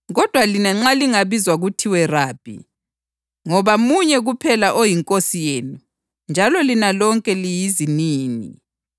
Kodwa lina nxa lingabizwa kuthiwe ‘Rabi,’ ngoba munye kuphela oyiNkosi yenu njalo lina lonke liyizinini.